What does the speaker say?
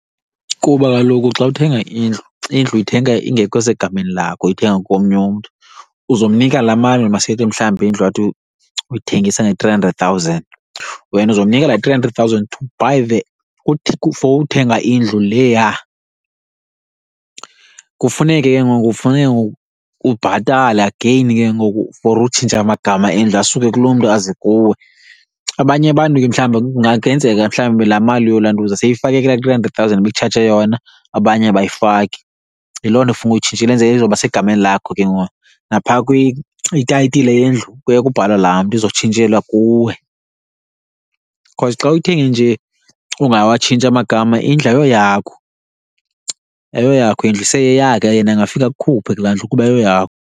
Kuba kaloku xa uthenga indlu, indlu uyithenga ingekho segameni lakho uyithenga komnye umntu. Uzomnika laa mali, masithi mhlawumbi indlu athi uyithengisa nge-three hundred thousand, wena uzomnika laa three hundred thousand to buy the, uthi for uthenga indlu leya. Kufuneke ke ngoku kufuneke ke ngoku ubhatale again ke ngoku for utshintsha amagama endlu asuke kuloo mntu aze kuwe. Abanye abantu ke mhlawumbi kungenzeka mhlawumbi laa mali yolantuza seyifakekile kulaa three hundred thousand ibikutshaje yona, abanye abayifaki. Yiloo nto funeke uyitshintshile kwenzele izoba segamani lakho ke ngoku. Naphaa itayitile yendlu kuye kubhalwe laa mntu izotshintshelwa kuwe, because xa uyithenge nje ungawatshintshi amagama indlu ayoyakho. Ayoyakho indlu iseyeyakhe, yena angafika akukhuphe kulaa ndlu kuba ayoyakho.